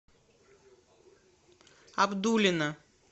абдулино